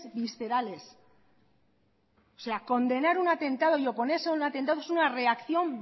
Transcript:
viscerales o sea condenar un atentado y oponerse a un atentado es una reacción